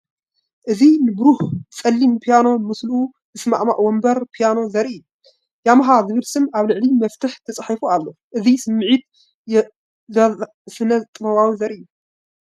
እዚ ንብሩህ ጸሊም ፒያኖን ምስኡ ዝሰማማዕ መንበር ፒያኖን ዘርኢ እዩ። ያማሃ ዝብል ስም ኣብ ልዕሊ መፍትሕ ተጻሒፉ ኣሎ። እቲ ስምዒት ዘዛንን ስነ-ጥበባዊን ዘርኢ እዩ።